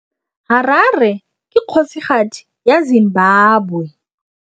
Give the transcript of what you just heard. Harare ke kgosigadi ya Zimbabwe.